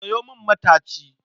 Sayo min mataci